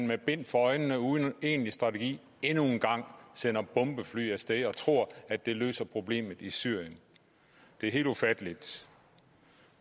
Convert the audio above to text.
med bind for øjnene uden en egentlig strategi endnu en gang sender bombefly af sted og tror at det løser problemet i syrien det er helt ufatteligt